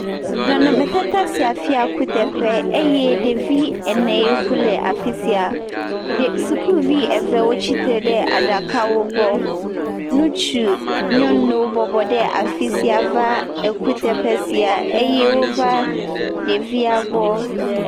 Nɔnɔmetata sia fia kuteƒe eye ɖevi ene yiwo ku le afi sia. Ɖe, sukuvi eve wotsi tre ɖe aɖakawo gbɔ. Ŋutsu, nyɔnuwo bɔbɔ ɖe afi sia va ekuteƒe sia va ekuteƒe sia eye wova ɖevia gbɔ.